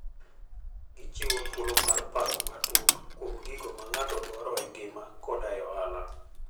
Gichiwo thuolo mar paro matut kuom gigo ma ng'ato dwaro e ngima koda e ohala.